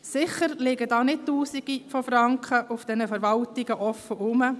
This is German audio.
In den Verwaltungen liegen sicher nicht tausende von Franken offen herum.